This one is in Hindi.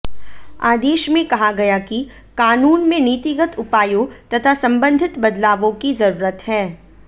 आदेश में कहा गया कि कानून में नीतिगत उपायों तथा संबंधित बदलावों की जरूरत है